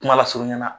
Kuma lasurunya na